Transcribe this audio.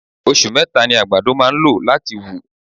Osù meta ni àgbàdo máa ń lò láti wù.